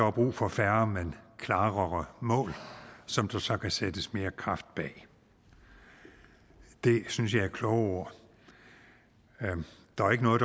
er brug for færre men klarere mål som der så kan sættes mere kraft bag det synes jeg er kloge ord der er ikke noget